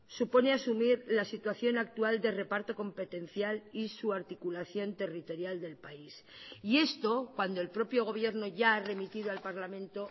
supone asumir la situación actual de reparto competencial y su articulación territorial del país y esto cuando el propio gobierno ya ha remitido al parlamento